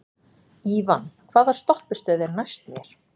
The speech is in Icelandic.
Ívan, hvaða stoppistöð er næst mér?